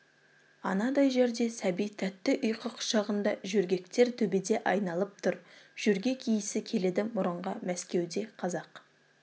анадай жерде сәби тәтті ұйқы құшағында жөргектер төбеде айналып тұр жөргек иісі келеді мұрынға мәскеуде қазақ